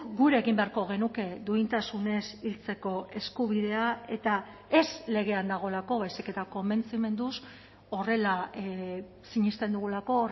gure egin beharko genuke duintasunez hiltzeko eskubidea eta ez legean dagoelako baizik eta konbentzimenduz horrela sinesten dugulako